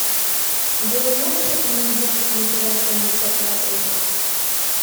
джой можешь отменить запись на эпеляцию на десятое апреля